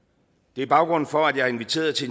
det er baggrunden for at jeg har inviteret til